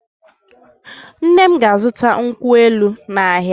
Nne m ga-azụta nkwụ elụ n’ahịa.